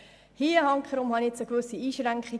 Hier sehe ich jedoch eine gewisse Einschränkung.